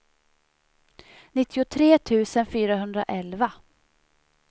nittiotre tusen fyrahundraelva